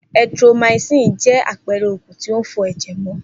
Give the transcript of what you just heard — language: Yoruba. Erythromycin jẹ́ àpẹrẹ oògùn tí ń fọ ẹ̀jẹ̀ mọ